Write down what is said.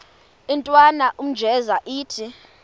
intwana unjeza ithi